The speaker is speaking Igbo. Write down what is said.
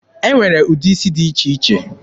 E nwere ụdị isi dị iche iche.